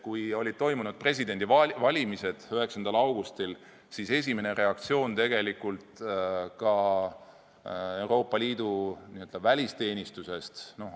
Kui presidendivalimised 9. augustil olid toimunud, siis esimene reaktsioon Euroopa Liidu n-ö välisteenistusest oli loid.